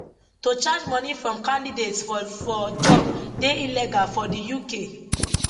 to charge money from candidates for for job dey illegal for di uk